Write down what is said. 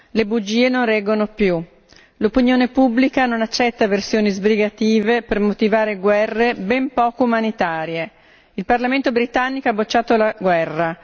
Le bugie non reggono più, l'opinione pubblica non accetta versioni sbrigative per motivare guerre ben poco umanitarie. Il Parlamento britannico ha bocciato la guerra.